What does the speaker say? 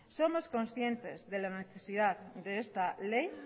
somos conscientes de la necesidad de esta ley